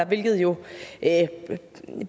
hvilket jo